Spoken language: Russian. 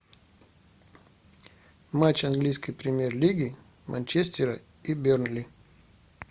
матч английской премьер лиги манчестера и бернли